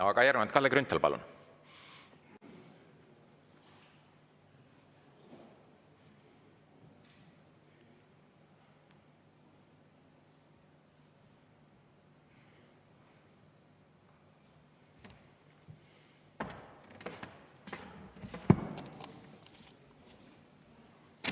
Aga järgnevalt Kalle Grünthal, palun!